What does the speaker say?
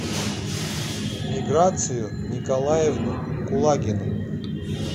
миграцию николаевну кулагину